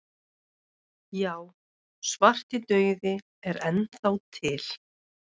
Já, svartidauði er enn þá til.